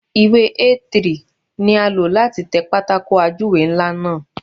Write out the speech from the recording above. Ìwé A3 ni a lò láti tẹ pátákó ajúwe ńlá náà.